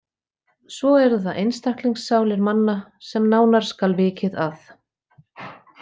Svo eru það einstaklingssálir manna, sem nánar skal vikið að.